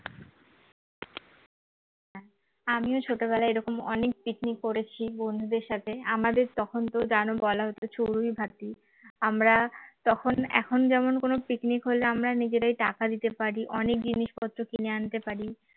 আমিও ছোটবেলায় এরকম অনেক picnic করেছি বন্ধুদের সাথে আমাদের তখন তো জানো বলা হতো চড়ুইভাতী, আমরা তখন এখন যেমন কোন picnic হলে আমরা নিজেরাই টাকা দিতে পারি অনেক জিনিসপত্র কিনে আনতে পারি